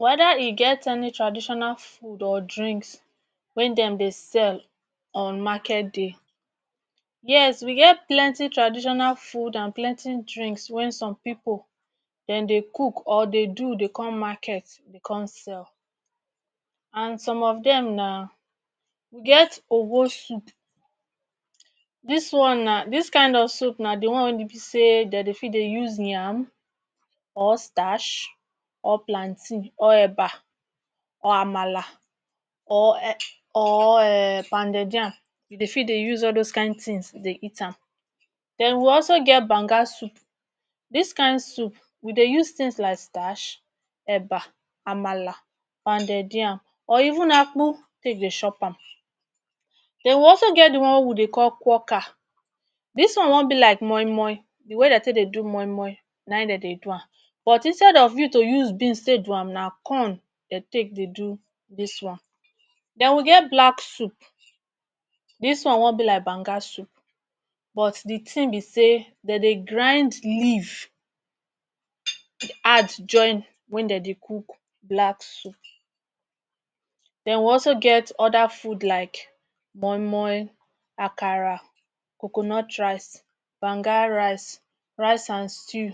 Weda e get any traditional food or drinks wey dem dey sell on market day Yes we get plenty traditional food and plenty drinks when some pipul dem dey cook or dey do dey come market dey come sell and some of dem na we get ogwo soup dis one na dis kind of soup na dey one wey e be sey dey fit dey use yam or starch or plantain, eba or amala or um pounded yam you dey fit dey use all those kind things fit dey eat am. Then we also get banga soup, dis kind soup we dey use things like starch, eba, amala, pounded yam or even akpu take dey chop am. Then we also get dey one wey we dey call kwoka dis one wan be like moimoi dey way dey take dey do moimoi na im dey dey do am but instead of you use beans do am na corn dey take do dis one. Then we get black soup dis one wan be like banga soup but dey thing we sey dey dey grind leaf add join when dey dey cook black soup. Then we also get other food like moimoi, akara, coconut rice, banga rice, rice and stew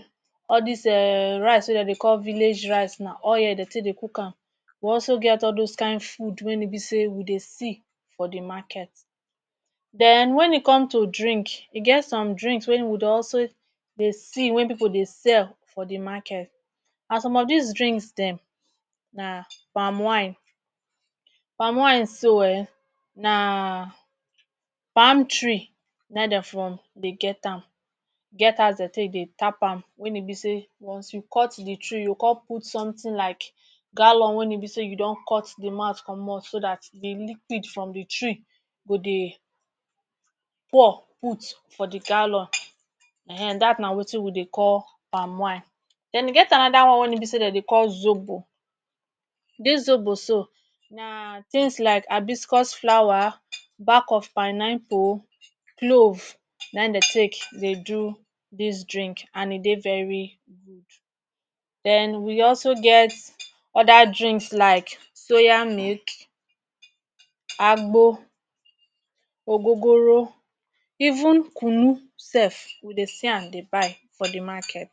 all dis um rice wey dey dey call village rice na oil dey take dey cook am. We also get all those kin food wey e be we dey see for dey market. Then when e come to drink e get some drinks wey we dey also dey see wey pipul dey sell for de market and some dis drinks dem na palm wine. Palm wine so um na palm tree im dey from get am e get as way dey dey tap am wey e be sey once you cut dey tree you come put something like gallon wey e be sey you don cut dey mouth comot so dat dey liquid from dey tree go dey pour put for dey gallon um dat na wetin we dey call palm wine. Then e get another one when e be sey dem dey call zobo dis zobo so na tins like hibiscus flower, back of pineapple, clove na in dey take dey do dis drink and e dey very good. Then we also get other drinks like soya milk, agbo, ogogoro even kunu sef we dey see am dey buy for dey market.